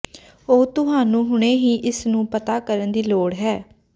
ਉਹ ਤੁਹਾਨੂੰ ਹੁਣੇ ਹੀ ਇਸ ਨੂੰ ਪਤਾ ਕਰਨ ਦੀ ਲੋੜ ਹੈ